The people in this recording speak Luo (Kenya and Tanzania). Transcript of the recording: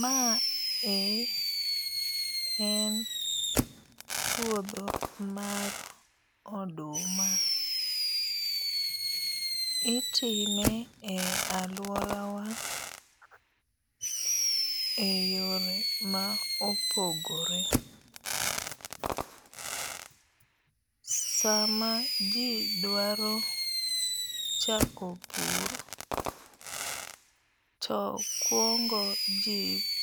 Mae en puodho mar oduma. Itime e aluora wa e yore ma opogore. Sama ji dwaro chako pur to kuongo ji